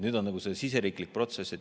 Nüüd on see siseriiklik protsess.